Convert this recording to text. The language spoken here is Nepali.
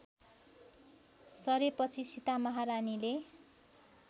सरेपछि सीता महारानीले